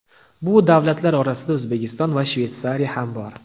Bu davlatlar orasida O‘zbekiston va Shveysariya ham bor.